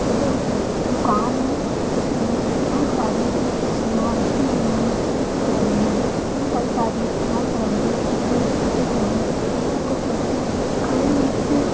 यह एक दुकान है जिसमे बहुत सारी मछलियां रखी हुई हैं जो कि बिक रही हैं इसमें कई सारी रंग बिरंगी रखी हुई हैं इसमें कुछ व्यक्ति खड़े हुए हैं